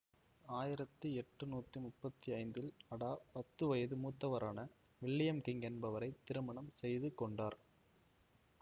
ஆயிரத்தி எட்டுநூத்தி முப்பத்தி ஐந்தில் அடா பத்து வயது மூத்தவரான வில்லியம் கிங் என்பவரை திருமணம் செய்துககொண்டார்